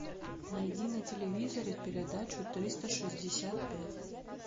найди на телевизоре передачу триста шестьдесят пять